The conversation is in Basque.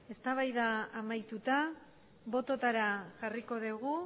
eztabaida amaituta bototara jarriko dugu